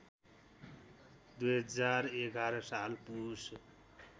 २०११ साल पुस